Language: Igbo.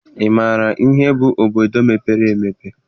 Ị maara ihe bụ obodo mepere emepe?